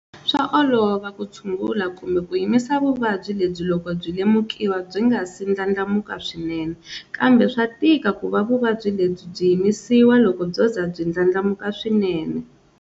Swa olova ku tshungula kumbe ku yimisa vuvabyi lebyi loko byi lemukiwa byi nga si ndlandlamuka swinene, kambe swa tika ku va vuvabyi lebyi byi yimisiwa loko byo za byi ndlandlamuka swinene.